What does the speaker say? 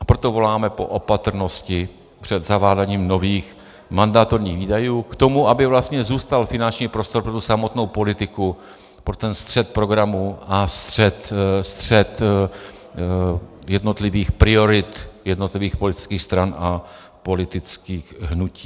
A proto voláme po opatrnosti před zaváděním nových mandatorních výdajů k tomu, aby vlastně získal finanční prostor pro tu samotnou politiku, pro ten střet programů a střet jednotlivých priorit jednotlivých politických stran a politických hnutí.